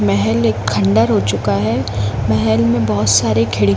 महल एक खंडर हो चुका है महल में बहुत सारे खिडकी--